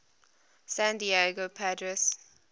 san diego padres